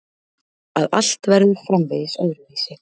Að allt verður framvegis öðruvísi.